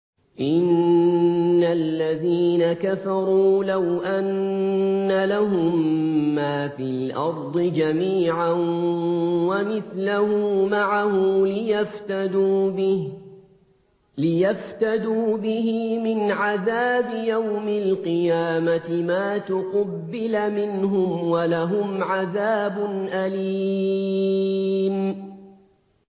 إِنَّ الَّذِينَ كَفَرُوا لَوْ أَنَّ لَهُم مَّا فِي الْأَرْضِ جَمِيعًا وَمِثْلَهُ مَعَهُ لِيَفْتَدُوا بِهِ مِنْ عَذَابِ يَوْمِ الْقِيَامَةِ مَا تُقُبِّلَ مِنْهُمْ ۖ وَلَهُمْ عَذَابٌ أَلِيمٌ